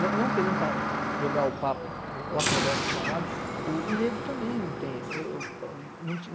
não não querendo jogar o papo ou a conversa para um lado, o negro também não tem. Eu eu não